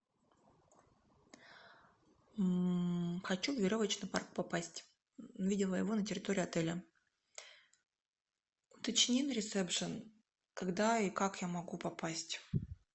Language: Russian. хочу в веревочный парк попасть видела его на территории отеля уточни на ресепшен когда и как я могу попасть